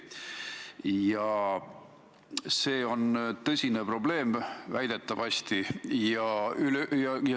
Ja see on väidetavasti tõsine probleem.